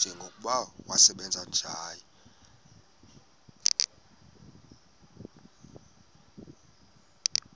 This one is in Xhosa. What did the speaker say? njengokuba wasebenzayo kusakhanya